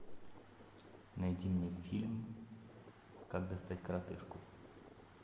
найди мне фильм как достать коротышку